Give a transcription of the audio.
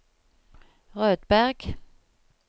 Rødberg